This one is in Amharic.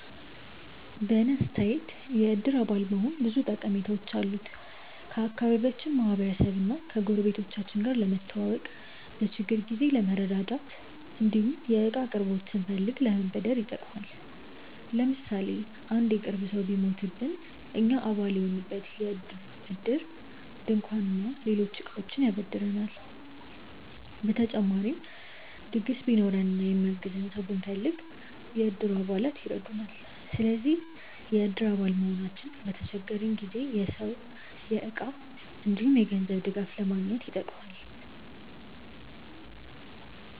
በእኔ አስተያየት የእድር አባል መሆን ብዙ ጠቀሜታዎች አሉት። ከአካባቢያችን ማህበረሰብ እና ጎረቤቶቻችን ጋር ለመተዋወቅ፣ በችግር ጊዜ ለመረዳዳት እንዲሁም የእቃ አቅርቦት ስንፈልግ ለመበደር ይጠቅማል። ለምሳሌ አንድ የቅርብ ሰው ቢሞትብን እኛ አባል የሆንበት እድር ድንኳን እና ሌሎች እቃዎችን ያበድረናል። በተጨማሪም ድግስ ቢኖረን እና የሚያግዘን ሰው ብንፈልግ፣ የእድሩ አባላት ይረዱናል። ስለዚህ የእድር አባል መሆናችን በተቸገረን ጊዜ የሰው፣ የእቃ እንዲሁም የገንዘብ ድጋፍ ለማግኘት ይጠቅማል።